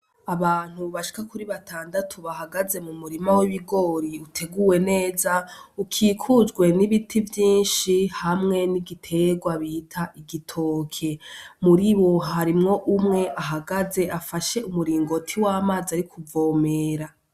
Abantu bashika kuri batandatu bahagaze mu murima w'ibigori uteguwe neza ukikujwe n'ibiti vyinshi hamwe n'igiterwa bita igitoke, muri bo harimwo umwe ahagaze afashe umuringoti w'amazi ari kuvomera.